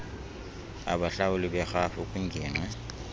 abahlawuli berhafu kwingingqi